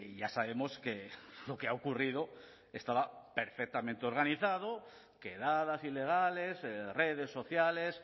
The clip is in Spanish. ya sabemos que lo que ha ocurrido estaba perfectamente organizado quedadas ilegales redes sociales